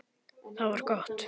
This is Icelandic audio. Það var gott